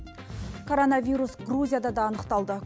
коронавирус грузияда да анықталды